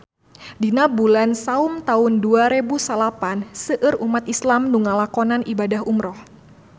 Dina bulan Saum taun dua rebu salapan seueur umat islam nu ngalakonan ibadah umrah